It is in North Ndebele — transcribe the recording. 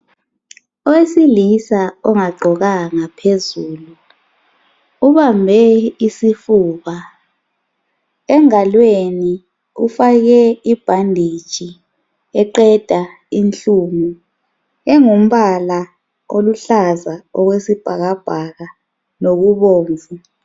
Owesilisa ongagqokanga phezulu ubambe isifuba. Engalweni ufake ibhanditshi eqeda inhlungu engumbala oluhlaza okwesibhakabhaka lokubomvu